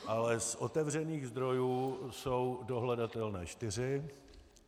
Ale z otevřených zdrojů jsou dohledatelné čtyři.